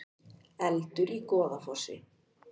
Eldur í Goðafossi